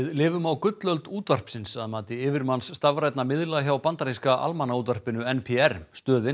lifum á gullöld útvarpsins að mati yfirmanns stafrænna miðla hjá bandaríska almannaútvarpinu n p r stöðin